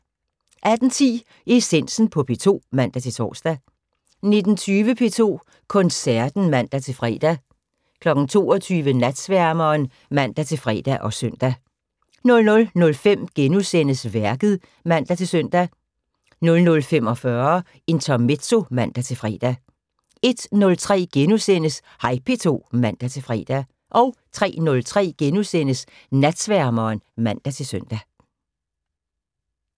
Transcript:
18:10: Essensen på P2 (man-tor) 19:20: P2 Koncerten (man-fre) 22:00: Natsværmeren (man-fre og søn) 00:05: Værket *(man-søn) 00:45: Intermezzo (man-fre) 01:03: Hej P2 *(man-fre) 03:03: Natsværmeren *(man-søn)